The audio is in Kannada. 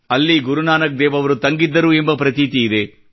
ಅಲ್ಲಿ ಗುರುನಾನಕ್ ದೇವ್ ಅವರು ತಂಗಿದ್ದರು ಎಂಬ ಪ್ರತೀತಿ ಇದೆ